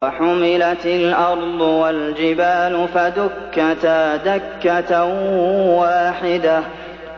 وَحُمِلَتِ الْأَرْضُ وَالْجِبَالُ فَدُكَّتَا دَكَّةً وَاحِدَةً